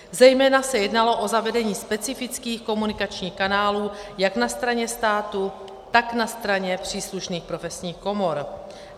Zejména se jednalo o zavedení specifických komunikačních kanálů jak na straně státu, tak na straně příslušných profesních komor.